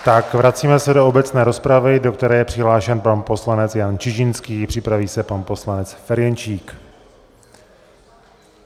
Tak vracíme se do obecné rozpravy, do které je přihlášen pan poslanec Jan Čižinský, připraví se pan poslanec Ferjenčík.